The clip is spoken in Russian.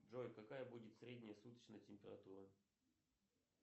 джой какая будет средняя суточная температура